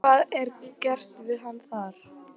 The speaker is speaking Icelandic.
Hvað er gert við hann þar?